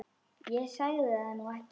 Ég sagði það nú ekki.